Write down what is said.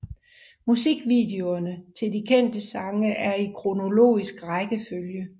Musikvideoerne til de kendte sange er i kronologisk rækkefølge